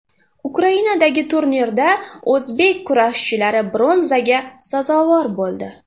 Ukrainadagi turnirda o‘zbek kurashchilari bronzaga sazovor bo‘ldi.